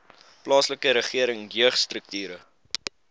plaaslike regering jeugstrukture